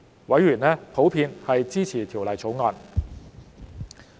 委員普遍支持《條例草案》。